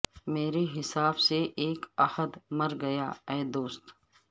مرے حساب سے اک عہد مر گیا اے دوست